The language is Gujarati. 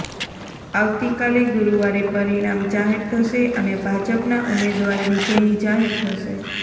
આવતી કાલે ગુરુવારે પરિણામ જાહેર થશે અને ભાજપના ઉમેદવાર વિજયી જાહેર થશે